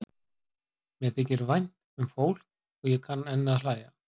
Mér þykir vænt um fólk og ég kann enn að hlæja.